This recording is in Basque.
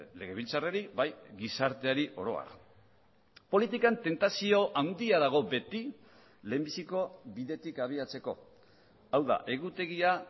legebiltzarrari bai gizarteari oro har politikan tentazio handia dago beti lehenbiziko bidetik abiatzeko hau da egutegia